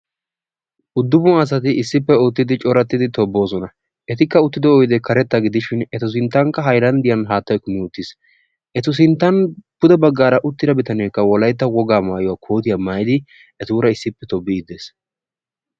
Uddufun asati issippe uttidi coratidi toboosona. etikka uttido oydee karetta gidishin etu sintankka haylandiyan haattay kummi uttis. etu sintan pude bagaara uttida bitaneeka wolaytta wogaa maayuwa kootiyaa maayidi etuura issipe tobiidi de'ees.